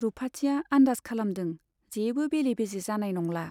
रुपाथिया आन्दाज खालामदों जेबो बेले बेजे जानाय नंला।